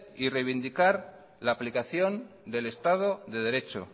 y revindicar la aplicación del estado de derecho